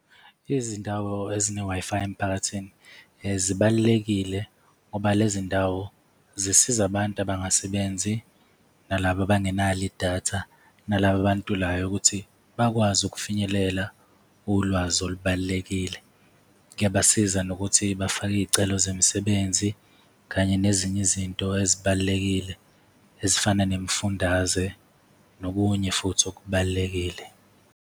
Izindawo ezine-Wi-Fi emphakathini zibalulekile ngoba le zindawo zisize abantu abangasebenzi, nalaba abangenalo, idatha nalaba abantulayo, ukuthi bakwazi ukufinyelela ulwazi olubalulekile, kuyabasiza nokuthi bafake iy'celo zemisebenzi kanye nezinye izinto ezibalulekile ezifana nemifundaze nokunye futhi okubalulekile.